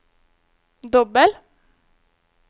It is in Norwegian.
dobbel